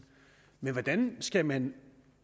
men hvordan skal man